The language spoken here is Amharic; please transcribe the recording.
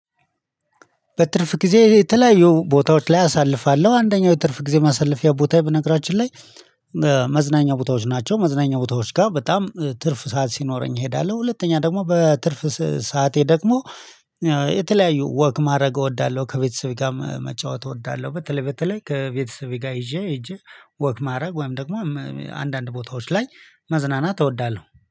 በትርፍ ጊዜ የተለያዩ ቦታዎች ላይ አሳልፋለሁ አንደኛው የትርፍ ጊዜ ማሳለፊያ ቦታዬ በነገራችን ላይ መዝናኛ ቦታዎች ናቸው። መዝናኛ ቦታዎች ጋ በጣም ትርፍ ሰዓት ሲኖረኝ እሄዳለሁ። ሁለተኛ ደግሞ በትርፍ ሰዓቴ ደግሞ የተለያዩ ወክ ማድረግ እወዳለሁ ከቤተሰቤ ጋር መጫወት እወዳለሁ። በተለይ በተለይ ከቤተሰቤ ጋር ይዤ ሄጄ ወክ ማድረግ ወይም ደግሞ አንዳንድ ቦታዎች ላይ መዝናናት እወዳለሁ